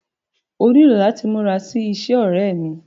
Ó nílò láti múra sí iṣẹ́, ọ̀rẹ́ ẹ́ mí.